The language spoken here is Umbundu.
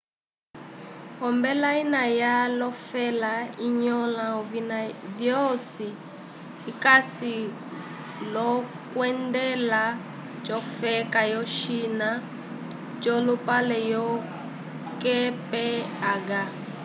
ombela ina ya lofela inyola ovina vyosi icasi lokwendela cofeka yo china colupale onze kph